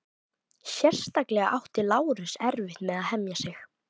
Sérstaklega átti Lárus erfitt með að hemja sig.